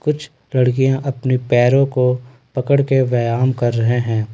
कुछ लड़कियां अपने पैरों को पकड़ कर व्यायाम कर रहे हैं।